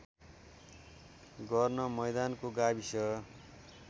गर्न मैदानको गाविस